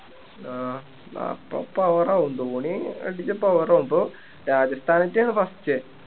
ആഹ് അപ്പം power ആകും ധോണി അടിച്ച power ആകും ഇപ്പൊ രാജസ്ഥാനേറ്റോ first